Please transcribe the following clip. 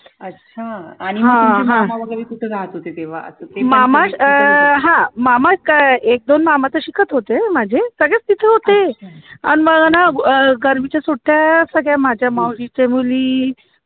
अच्छा आणि मग तुमचे मामा वैगेरे कुठे राहत होते तेव्हा